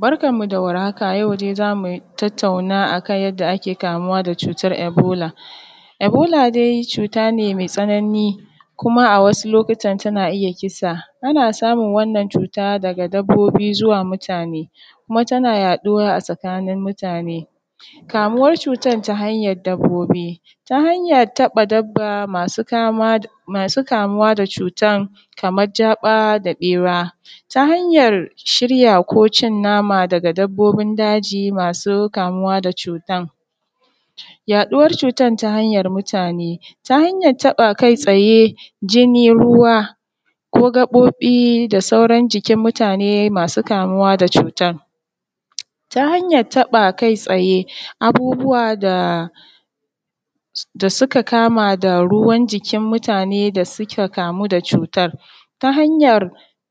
Barkanmu da warhaka yau dai za mu tattauna akan yanda ake kamuwa da cutar ebola. Ebola dai cuta ce mai tsanani kuma a wasu lokutan tana iya kisa, ana samun wannan cuta daga dabbobi zuwa mutane kuma tana yaɗuwa a tsakanin mutane ne, kamuwar cutar ta hanyar dabbobi ta hanyar taɓa dabba masu kamuwa da cutan kamar jaba da ɓera ta hanyar shirya ko cin nama daga dabbobin daji masu kamuwa da cutan. Yaduwar cutar ta hanyar mutane ta hanyar taɓa kai tsaye, jinni, ruwa ko gaɓoɓi da sauran jikin mutane masu kamuwa da cutan ta hanyar taɓa kai tsaye abubuwa da suka kama da ruwan jikin mutane da suka kamu da cutan ta hanyar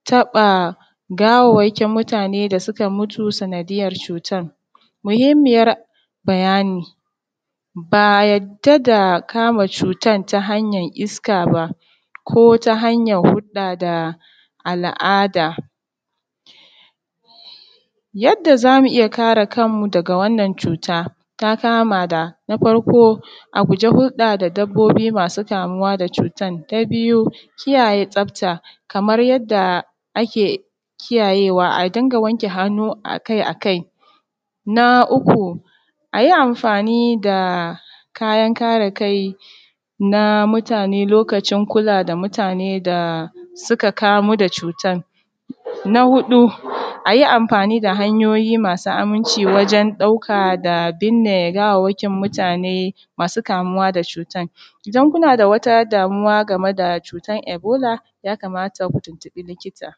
taɓa gawawwakin mutane da suka mutu sanadiyyar cutar. Muhimmiyar bayani ba a yarda da kama cutar ta hanyar iska ba ko ta hanyar huɗɗa da al’ada yadda za mu iya kare kanmu daga wannan cuta ta kama da na farko a guje huɗɗa da dabbobi masu kamuwa da cutan, na biyu kiyaye tsafta kaman yadda ake kiyaye wa a dinga wanke hannu akai-akai, na uku a yi amfani da kayan kare kai na mutane lokacin kula da mutane da suka kamu da cutan. Na hudu a yi amfani da hanyoyi masu aminci wajen ɗauka da binne gawawakin mutane masu kamuwa da cutan, idan kuna da wata damuwa game da cutan ebola yakamata ku tuntuɓi likita.